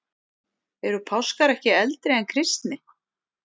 Eru páskar ekki eldri en kristni?